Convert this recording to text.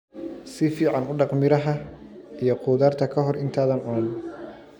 Si fiican u dhaq miraha iyo khudaarta ka hor intaadan cunin.